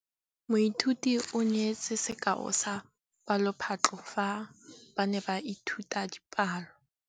Moithuti o neetse sekaô sa palophatlo fa ba ne ba ithuta dipalo.